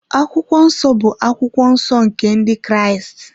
Akwụkwọ Nsọ bụ akwụkwọ nsọ nke Ndị Kraịst.